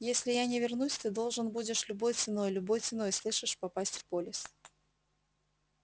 если я не вернусь ты должен будешь любой ценой любой ценой слышишь попасть в полис